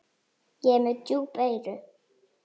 Ég er með djúp eyru.